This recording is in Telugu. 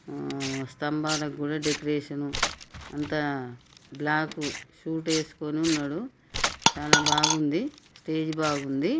హ్మ్ స్తంబాలకు కూడా డెకరేషన్ అంత బ్లాక్ సూట్ వేస్కొని ఉన్నాడు చాలా బాగుంది స్టేజి బాగుంది.